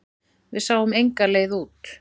Við sáum enga leið út.